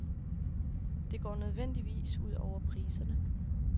Det går nødvendigvis ud over priserne.